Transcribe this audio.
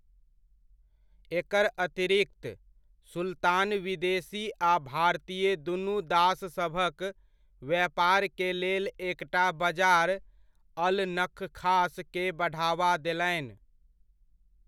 एकर अतिरिक्त, सुल्तान विदेशी आ भारतीय दुनु दाससभक व्यापारकेलेल एकटा बजार, अल नखखास के बढावा देलनि।